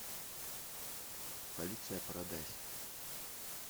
полиция парадайз